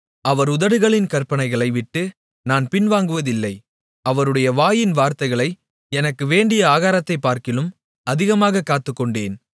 அவர் உதடுகளின் கற்பனைகளை விட்டு நான் பின்வாங்குவதில்லை அவருடைய வாயின் வார்த்தைகளை எனக்கு வேண்டிய ஆகாரத்தைப் பார்க்கிலும் அதிகமாகக் காத்துக்கொண்டேன்